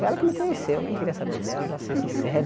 Foi ela que me conheceu, eu nem queria saber dela, para ser sincero.